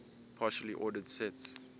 partially ordered sets